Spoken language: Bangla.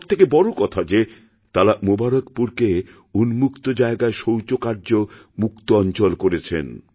সব থেকে বড় কথা যে তাঁরামুবারকপুরকে উন্মুক্ত জায়গায় শৌচকার্যমুক্ত অঞ্চল করেছেন